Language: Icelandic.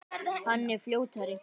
Hann er fljótari.